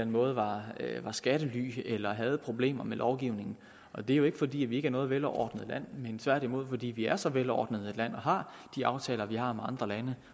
måde var skattely eller havde problemer med lovgivningen og det er jo ikke fordi vi ikke er noget velordnet land men tværtimod fordi vi er så velordnet et land og har de aftaler vi har med andre lande